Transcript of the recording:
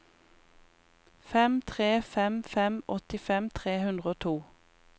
fem tre fem fem åttifem tre hundre og to